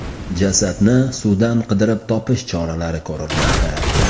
Jasadni suvdan qidirib topish choralari ko‘rilmoqda.